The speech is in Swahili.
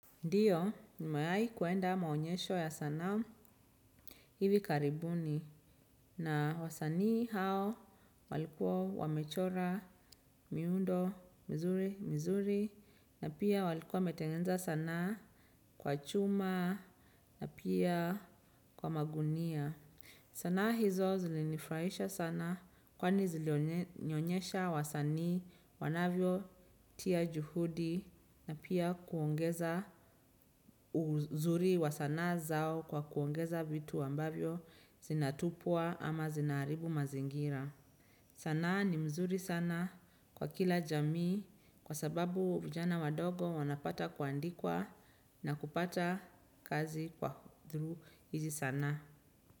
Ndiyo ni mayai kuenda maonyesho ya sana hivi karibuni na wasanii hao walikuwa wamechora miundo mizuri mizuri na pia walikuwa metengenza sana kwa chuma na pia kwa magunia. Sana hizo zilinifraisha sana kwani zilionyesha wasani wanavyo tia juhudi na pia kuongeza uzuri wa sana zao kwa kuongeza vitu ambavyo zinatupua ama zinaribu mazingira. Sana ni mzuri sana kwa kila jamii kwa sababu vijana wadogo wanapata kuandikwa na kupata kazi kwa hudhu hizi sana.